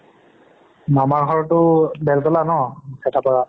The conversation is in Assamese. মামাৰ ঘৰটো বেলতলা ন ভেতাপাৰা